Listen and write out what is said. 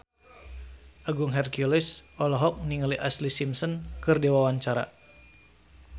Agung Hercules olohok ningali Ashlee Simpson keur diwawancara